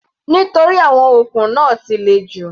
Nítorí àwọn okùn náà ti le jù.